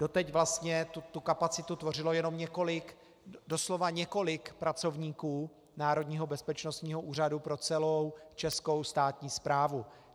Doteď vlastně tu kapacitu tvořilo jenom několik - doslova několik - pracovníků Národního bezpečnostního úřadu pro celou českou státní správu.